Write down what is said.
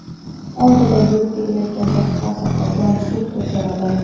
oldida yurib ketayotgan boshqa saqqodan suv so‘radi.